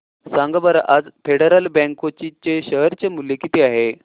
सांगा बरं आज फेडरल बँक कोची चे शेअर चे मूल्य किती आहे